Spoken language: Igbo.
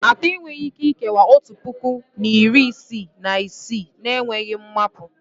Atọ enweghị Ike ikewaa otu puku na iri isii na isii na-enweghị mmapu